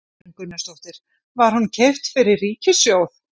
Þorgerður Katrín Gunnarsdóttir: Var hún keypt fyrir ríkissjóð?